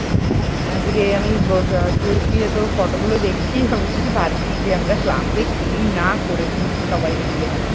আজকে আমি বস শুয়ে শুয়ে তোর photo গুলো দেখছি আমি শুধু ভাবছি যে আমরা class এ করেছি সবাই মিলে।